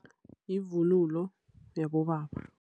Yivunulo yaboba.